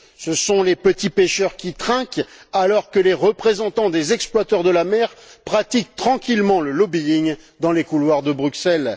Ce sont les petits pêcheurs qui trinquent alors que les représentants des exploiteurs de la mer pratiquent tranquillement le lobbying dans les couloirs de Bruxelles.